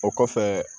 O kɔfɛ